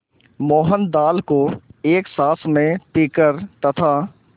मोहन दाल को एक साँस में पीकर तथा